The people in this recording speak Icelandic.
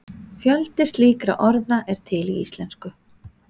Fjöldi slíkra orða er til í íslensku.